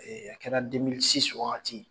Ee a kɛra wagati.